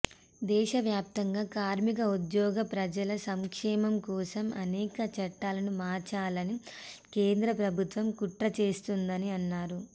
దేశ వ్యాప్తంగా కార్మిక ఉద్యోగ ప్రజల సంక్షేమం కోసం అనేక చట్టాలను మార్చాలని కేంద్ర ప్రభుత్వం కుట్ర చేస్తోందని అన్నారు